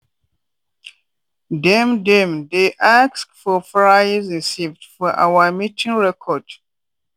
dem dem dey ask for price receipt for our meeting record.